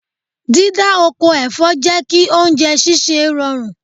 Dídá oko ẹ̀fọ́ jẹ́ kí oúnjẹ sísè rọrùn.